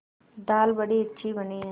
दाल बड़ी अच्छी बनी है